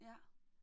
Ja